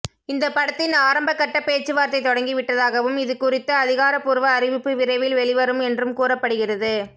இந்த படத்தின் ஆரம்ப கட்ட பேச்சுவார்த்தை தொடங்கி விட்டதாகவும் இதுகுறித்த அதிகாரபூர்வ அறிவிப்பு விரைவில் வெளிவரும் என்றும் கூறப்படுகிறது